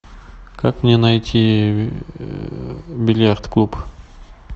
как мне найти бильярд клуб